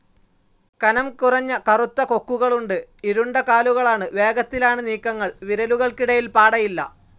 കനം കുറഞ്ഞ കറുത്ത കൊക്കുകളുണ്ട്. ഇരുണ്ട കാലുകളാണ്. വേഗത്തിലാണ് നീക്കങ്ങൾ. വിരലുകൾക്കിടയിൽ പാടയില്ല.